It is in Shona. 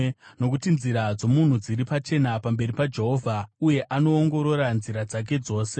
Nokuti nzira dzomunhu dziri pachena pamberi paJehovha, uye anoongorora nzira dzake dzose.